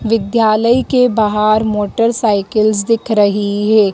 विद्यालय के बाहर मोटरसाइकिलस दिख रही है।